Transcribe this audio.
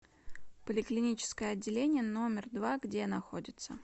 поликлиническое отделение номер два где находится